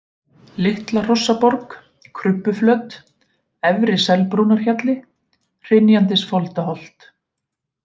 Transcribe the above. Litla-Hrossaborg, Krubbuflöt, Efri-Selbrúnarhjalli, Hrynjandisfoldaholt